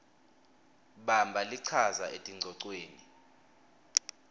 bamba lichaza etingcocweni